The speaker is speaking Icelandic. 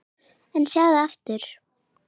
En sjáðu nú til!